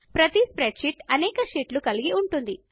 ప్రతి స్ప్రెడ్షీట్ అనేక షీట్లను కలిగి ఉంటుంది